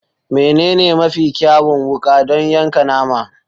Menene mafi kyawun wuƙa don yanka nama?